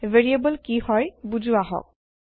variable কি হয় বুজো আহক